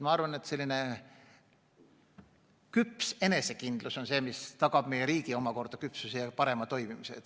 Ma arvan, et selline küps enesekindlus tagab ka meie riigi küpsuse ja parema toimimise.